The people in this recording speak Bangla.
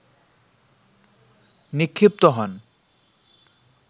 নিক্ষিপ্ত হন